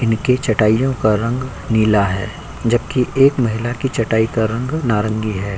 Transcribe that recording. इनकें चटाइयों का रंग नीला है जबकि एक महिला की चटाई का रंग नारंगी है।